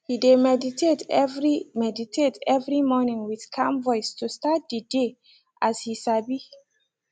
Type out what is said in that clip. he de meditate every meditate every morning with calm voice to start de dey as he sabi